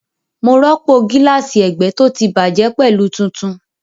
Mo rọ́pò gíláàsì ẹgbẹ́ tó ti bàjẹ́ pẹ̀lú tuntun